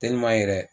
yɛrɛ